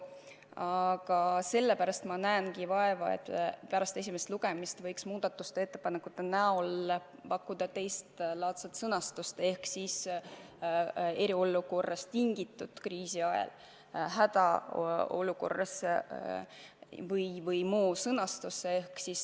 Aga sellepärast ma näengi vaeva, et pärast esimest lugemist võiks muudatusettepaneku näol pakkuda teistlaadset sõnastust ehk siis "eriolukorrast tingitud kriisi ajal", "hädaolukorras" või midagi sellist.